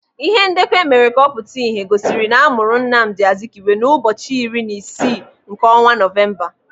Ihe ndekọ emere ka ọ pụta ìhè gosiri na amụrụ Nnamdi Azikiwe ụbọchị iri na isii nke ọnwa Nọvemba.